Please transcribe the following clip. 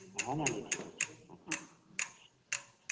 ହଁ, ନାନୀ ଠିକ୍ ଅଛେ।